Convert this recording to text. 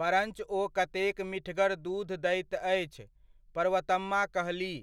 परञ्च ओ कतेक मीठगर दूध दैत अछि!', पर्वतम्मा कहलीह।